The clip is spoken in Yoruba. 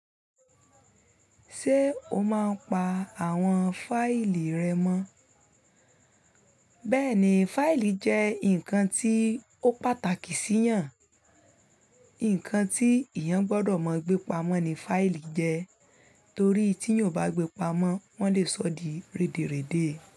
Ṣé o máa ń pa àwọn fáìlì rẹ mọ́? Bẹ́ẹ̀ni, fáìlì jẹ́ nǹkan tí ó pàtàkì sí eeyàn, nǹkan tí eeyàn gbọ́dọ̀ mọ gbépamọ́ ní fáìlì jẹ, torí tí eeyàn ò bá gbépamọ́ wọ́n lè sọ di rèdèrèdé.